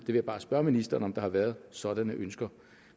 vil bare spørge ministeren om der har været sådanne ønsker